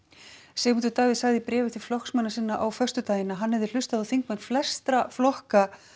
Sigmundur Davíð sagði í bréfi til flokksmanna sinna á föstudag að hann hefði hlustað á þingmenn flestra flokka